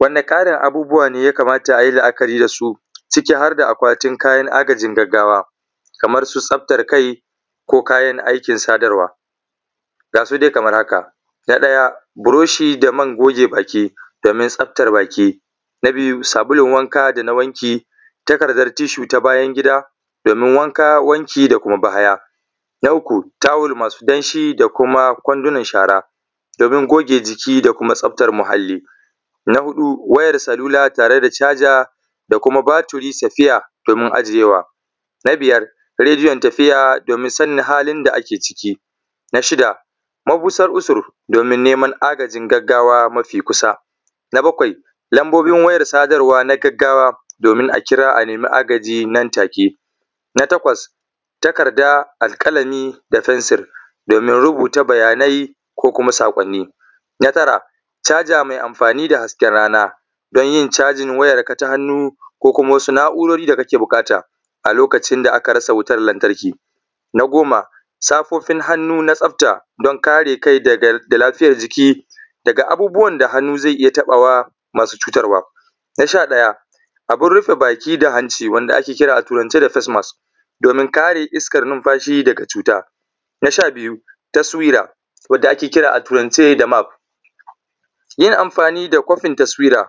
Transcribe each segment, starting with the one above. Wani tarin abubuwa ne ya kamata a yi la'akari da su ciki har da akwatin kayan agajin gaggawa kamar su tsaftar kai ko kayayyakin sadarwa. Ga su dai kamar haka: na ɗaya buroshi da man goge baki, domin tsaftar baki. Na biyu takardar tissue na bayan gida domin wanka wanki da bahaya. Na uku tawul masu danshi da kumakwandunan shara donin goge jiki da kuma tsaftar muhalli. Na huɗu wayar salula tare da charger da kuma batturi spare. Na biyar radio na tafiya domin sannin halin da ake ciki. Na shida mabusar usur domin neman agajin gaggawa mafi kusa. Na bakwai lambobin wayar sadarwa na gaggawa domin a kira a nema agaji nan take. Na takwas takarda, alƙalami da fensir domin rubuta bayanai. Na tara charger mai amfani da hasken rana don yin cajin wayanka na hannu da wasu na'urar da kake buƙata lokaci da aka rasa wutar lantarki. Na goma safofin hannu na tsafta domin kare jiki daga abubuwan da hannu zai iya tabawa masucutarwa. Na sha ɗaya abun rufe baki da hanci da ake kira a turance da facemask domin kara iskar numfashi daga cuta. Na sha biya, taswira wanda ake kira a turance da map. Yin amfani da kofin taswaira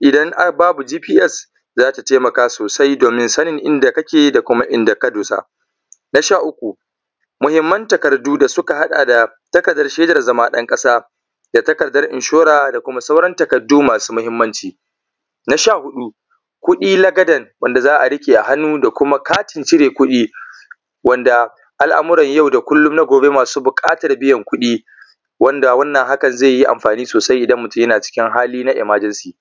idan babu GPS za ta taimaka sosai domin sanin inda kake da kuma inda ka dosa. Na sha uku, muhimman takardu da suka haɗa da takardar shedan zama ɗan ƙasa da takardar insurer da kuma sauran takardu masu muhimmanci. Na sha huɗu kuɗi lakadan wanda za a riƙe a hannun da kuma katin cire kuɗi wanda al'amurra yau da gobe masu buƙatar kuɗi wanda hakan zai yi amfani sosai idan mutum yana cikin hali na emergency.